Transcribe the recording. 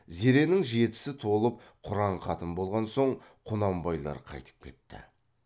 зеренің жетісі толып құран хатым болған соң құнанбайлар қайтып кетті